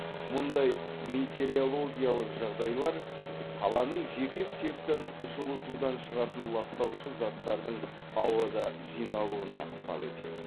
мұндай метеорологиялық жағдайлар қаланың жеке секторын жылытудан шығатын ластаушы заттардың ауада жиналуына ықпал етті